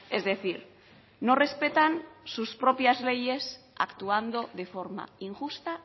es decir no respetan sus propias leyes actuando de forma injusta